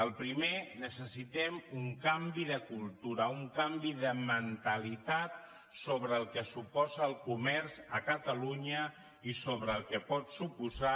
el primer necessitem un canvi de cultura un canvi de mentalitat sobre el que suposa el comerç a catalunya i sobre el que pot suposar